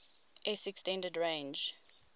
s extended range